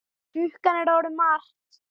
Klukkan er orðin margt.